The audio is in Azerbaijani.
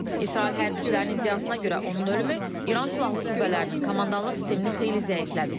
İsrail hərbçilərinin iddiasına görə, onun ölümü İran silahlı qüvvələrinin komandanlıq sistemini xeyli zəiflədib.